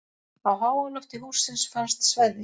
Á háalofti hússins fannst sveðja.